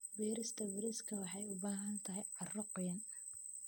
Beerista bariiska waxay u baahan tahay carro qoyan.